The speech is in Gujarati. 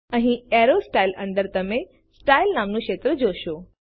અહીં એરો સ્ટાઇલ્સ અંદર તમે સ્ટાઇલ નામનું ક્ષેત્ર જોશો